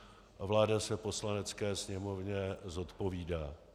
Vláda se Poslanecké sněmovně zodpovídá.